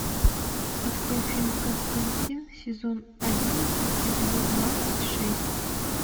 открой фильм константин сезон одиннадцать эпизод двадцать шесть